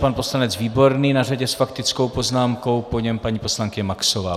Pan poslanec Výborný na řadě s faktickou poznámkou, po něm paní poslankyně Maxová.